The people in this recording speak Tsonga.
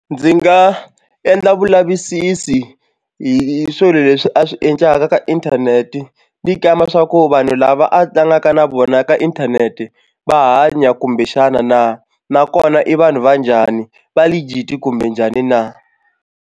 Ndzi nga endla vulavisisi hi swilo leswi a swi endlaka ka inthanete ni kamba swa ku vanhu lava a tlangaka na vona ka inthanete va hanya kumbexana na nakona i vanhu va njhani va legit kumbe njhani na.